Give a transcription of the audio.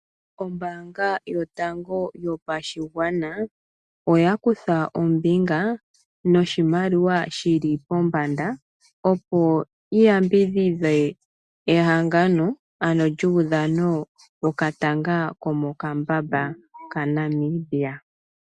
Ombaanga yotango yopashigwana, oya kutha ombinga noshimaliwa shili pombanda, opo yi yambidhidhe ehangano lyuudhano wokatanga komokambamba kaNamibia.